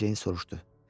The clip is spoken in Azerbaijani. Mericeyindən soruşdu.